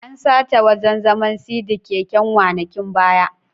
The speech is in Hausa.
An sace wajan zaman/sidi keken wanakin baya